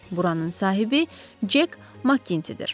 Buranın sahibi Cek Mak Kindidir.